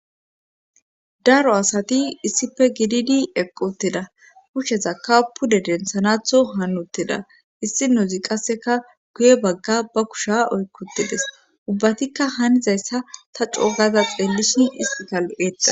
daro asati issife gididi eqquteda kushsheza kaapude densanatho haanutteda issi nuuzi qasseka guye bagga ba kusha oykkutedes ubbatikka haanizayssa ta coogaza xeellisin hisqigal7eexa